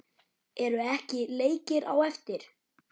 Eru ekki leikir á eftir?